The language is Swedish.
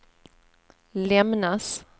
lämnas